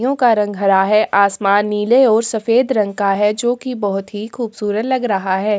यो का रंग हरा है आसमान नीले और सफेद रंग का है जो की बहोत ही खूबसूरत लग रहा है।